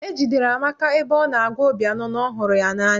E jidere Amaka ebe ọ na-agwa Obiano na ọ hụrụ ya n'anya.